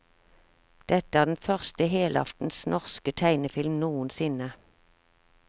Dette er den første helaftens norske tegnefilm noensinne.